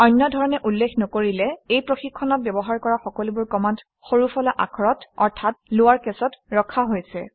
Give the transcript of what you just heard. অন্য ধৰণে উল্লেখ নকৰিলে এই প্ৰশিক্ষণত ব্যৱহাৰ কৰা সকলোবোৰ কমাণ্ড সৰুফলা আখৰত অৰ্থাৎ লৱাৰ কেচত ৰখা হৈছে